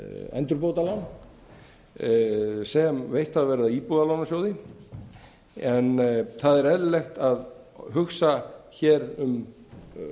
endurbótalán sem veitt hafa verið af íbúðalánasjóði en það er eðlilegt að hugsa hér um